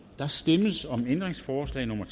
der stemmes om ændringsforslag nummer